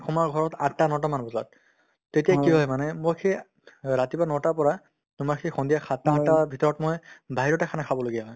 সোমাও ঘৰত আঠটা নটামান বজাত তেতিয়া কি হয় মানে মোৰ সেই ৰাতিপুৱা নটাৰ পৰা তোমাৰ সেই সন্ধিয়া সাতটা আঠটাৰ ভিতৰত মই বাহিৰতে khana খাবলগীয়া হয়